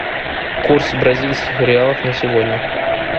курс бразильских реалов на сегодня